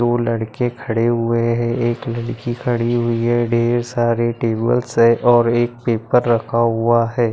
दो लड़के खड़े हुए है एक लड़की खड़ी हुई है डेर सारे टेबल्स है और एक पेपर रखा हुआ है।